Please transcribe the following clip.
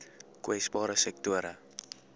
kwesbare sektore